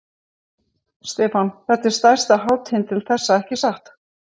Stefán: Þetta er stærsta hátíðin til þessa, ekki satt?